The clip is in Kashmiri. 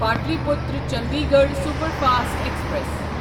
Pataliputra Chandigarh superfast express